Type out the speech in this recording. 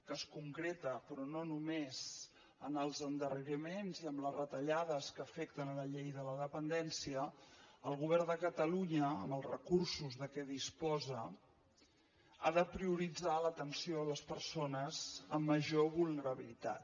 que es concreta però no només en els endarreriments i en les retallades que afecten la llei de la dependència el govern de catalunya amb els recursos de què disposa ha de prioritzar l’atenció a les persones amb major vulnerabilitat